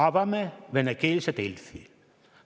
Avame venekeelse Delfi.